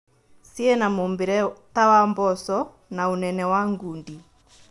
Ciĩna mũmbĩre ta wa mboco na ũnene wa ngundi